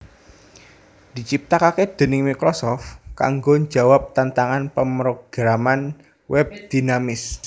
diciptakake déning Microsoft kanggo njawab tantangan pemrograman web dinamis